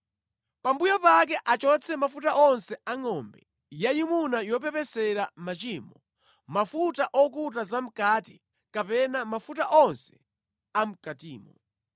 Pambuyo pake achotse mafuta onse a ngʼombe yayimuna yopepesera machimoyo: mafuta okuta zamʼkati kapena mafuta onse amʼkatimo.